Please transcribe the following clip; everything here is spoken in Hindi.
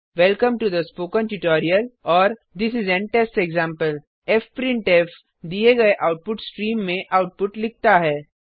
welcome to the spoken tutorial और this is an test example fprintf दिए गए आउटपुट स्ट्रीम में आउटपुट लिखता है